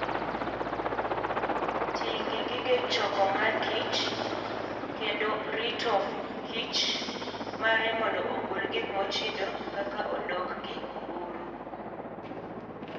Ti gi gige choko mor kich kendo rito kichr mare mondo ogol gik mochido kaka odok gi buru.